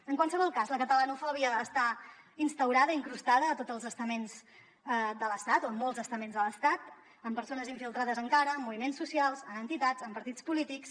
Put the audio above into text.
en qualsevol cas la catalanofòbia està instaurada i incrustada a tots els estaments de l’estat o en molts estaments de l’estat amb persones infiltrades encara en moviments socials en entitats en partits polítics